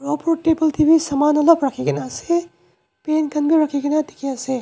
opor table dae bi saman olop rakikina asae paint khan bi rakikina diki asae.